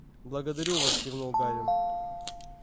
б-благодарю вас кивнул гарри